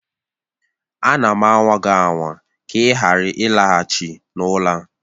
Ana m anwa gị anwa ka ị ghara ịlaghachi n'ụlọ a